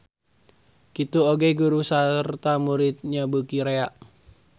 Kitu oge guru sarta muridnya beuki rea.